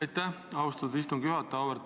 Aitäh, austatud istungi juhataja!